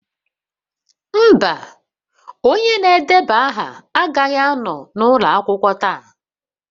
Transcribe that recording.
Mba, onye na-edeba aha agaghị anọ n'ụlọ akwụkwọ taa.